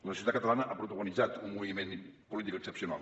la societat catalana ha protagonitzat un moviment polític excepcional